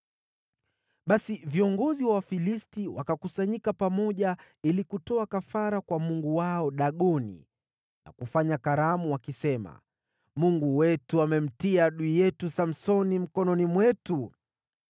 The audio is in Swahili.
Basi viongozi wa Wafilisti wakakusanyika pamoja ili kutoa kafara kwa mungu wao Dagoni na kufanya karamu, wakisema, “Mungu wetu amemtia adui yetu Samsoni mikononi mwetu.”